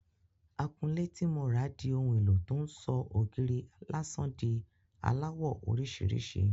Akunlé ti mo rà di ohun éló tó ń sọ ògiri lásán di aláwọ̀ orísìírísìí.